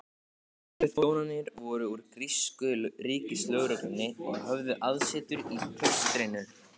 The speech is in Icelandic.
Lögregluþjónarnir voru úr grísku ríkislögreglunni og höfðu aðsetur í klaustrinu.